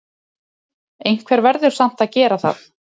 Einhver verður samt að gera það!